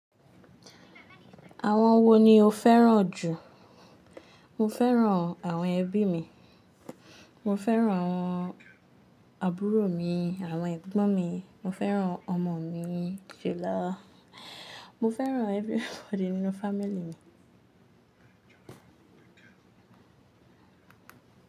Àwọn wo ni o fẹ́ràn jù? Mo fẹ́ràn àwọn ẹbí mi. Mo fẹ́ràn àwọn àbúrò mi, àwọn ẹ̀gbọ́n mi, mo fẹ́ràn ọmọ mi, ṣèlọ́. Mo fẹ́ràn everybody nínú family mi.